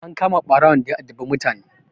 An kama ɓarawon daya addabi mutane.